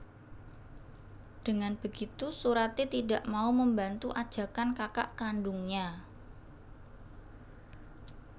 Dengan begitu Surati tidak mau membantu ajakan kakak kandungnya